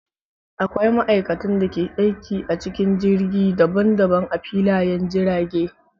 Akwai ma'aikatan da ke aiki a cikin jirgi daban daban a filayen jirage.